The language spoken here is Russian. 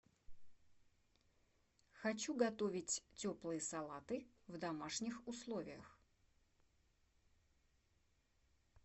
хочу готовить теплые салаты в домашних условиях